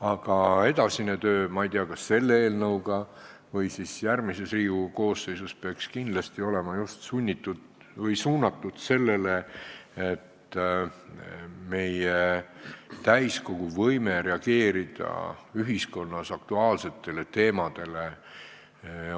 Aga edasine töö, ma ei tea, kas selle eelnõuga või siis järgmises Riigikogu koosseisus, peaks kindlasti olema suunatud sellele, et täiskogul oleks võime reageerida ühiskonnas tekkinud aktuaalsetele teemadele.